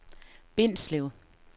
Bindslev